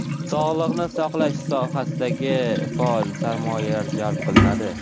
sog‘liqni saqlash sohalariga faol sarmoyalar jalb qilinadi.